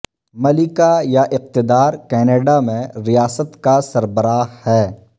ملکہ یا اقتدار کینیڈا میں ریاست کا سربراہ ہے